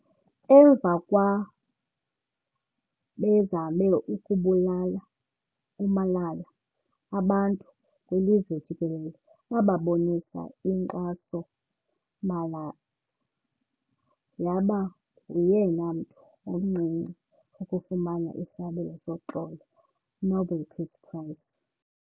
Emva kwa bezame ukubulala uMalala abantu kwilizwe jikelele babonisa inkxasouMalala yaba nguyena mntu omncinci ukufumana isabelo soxolo Nobel Peace Prize